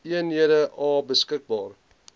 eenhede a beskikbaar